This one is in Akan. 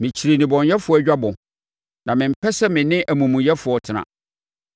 Mekyiri nnebɔneyɛfoɔ dwabɔ na mempɛ sɛ me ne amumuyɛfoɔ tena.